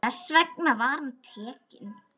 Þess vegna var hann tekinn.